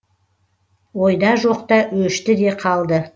ойда жоқта өшті де қалды